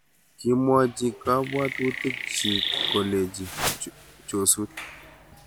kimwochi kabwotutikchich kole chosut